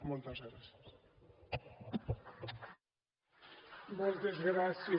moltes gràcies